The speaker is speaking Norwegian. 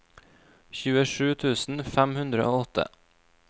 tjuesju tusen fem hundre og åtte